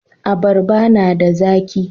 Abarba na da zaki.